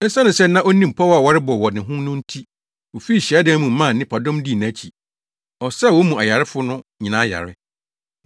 Esiane sɛ na onim pɔw a wɔrebɔ wɔ ne ho no nti, ofii hyiadan no mu maa nnipadɔm dii nʼakyi. Ɔsaa wɔn mu ayarefo no nyinaa yare.